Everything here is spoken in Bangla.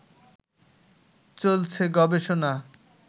চলছে গবেষণা